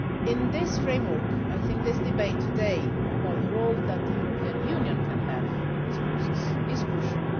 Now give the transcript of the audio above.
In this framework, I think this debate today about the role that the European Union can play in this process is crucial.